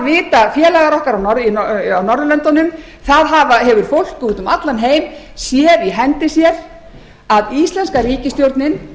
vita félagar okkar á norðurlöndunum það hefur fólk úti um allan heim séð í hendi sér að íslenska ríkisstjórnin